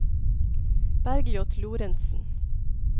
Bergljot Lorentsen